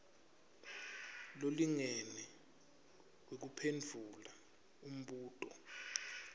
lolingene wekuphendvula umbuto